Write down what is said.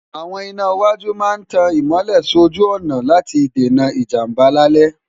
àwọn iná iwájú máa ń tan ìmọ́lẹ̀ sójú ọ̀nà láti dènà ìjàmbá lálẹ́